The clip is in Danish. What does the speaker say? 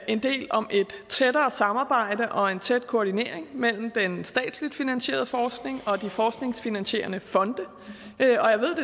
en del om et tættere samarbejde og en tæt koordinering mellem den statsligt finansierede forskning og de forskningsfinansierende fonde og jeg ved